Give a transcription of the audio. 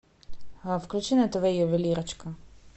включи на тв ювелирочка